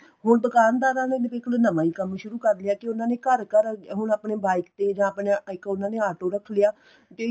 ਹੁਣ ਦੁਕਾਨਦਾਰਾ ਨੂੰ ਵੀ ਇੱਕ ਨਵਾ ਈ ਕੰਮ ਸ਼ੁਰੂ ਕਰ ਲਿਆ ਕੀ ਉਨ੍ਹਾਂ ਨੇ ਘਰ ਘਰ ਹੁਣ ਆਪਣੇ bike ਤੇ ਜਾਂ ਆਪਣੇ ਇੱਕ ਉਨ੍ਹਾਂ ਨੇ ਤੇ